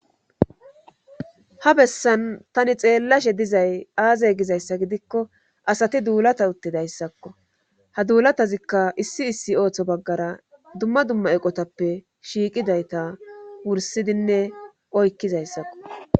Ha bessan tani xeellashe dizay aaze gizayssa gidikko asati duulata uttidayssakko ha duulatazikka issi issi ooththo baggara dumma dumma eqotappe shiiqidayta wursidinne oykkizayssakko